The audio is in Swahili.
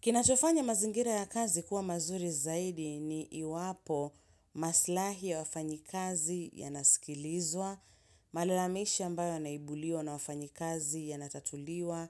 Kinachofanya mazingira ya kazi kua mazuri zaidi ni iwapo maslahi ya wafanyi kazi yanasikilizwa, malalamishi ambayo yanaibuliwa na wafanyikazi yanatatuliwa,